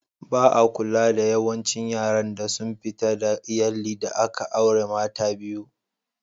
Ba'a kula da yawancin yaran da sun fita daga Iyalli da aka aure mata biyu.